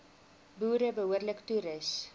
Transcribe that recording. boere behoorlik toerus